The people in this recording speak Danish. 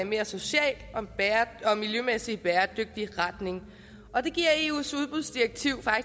mere social og miljømæssigt bæredygtig retning og det giver eus udbudsdirektiv